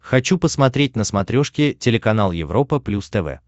хочу посмотреть на смотрешке телеканал европа плюс тв